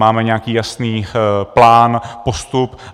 Máme nějaký jasný plán, postup.